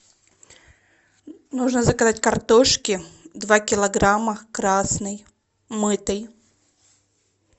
нужно заказать картошки два килограмма красной мытой